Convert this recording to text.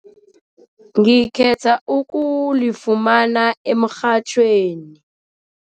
Ngikhetha ukulifumana emrhatjhweni.